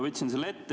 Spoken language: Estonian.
Võtsin selle ette.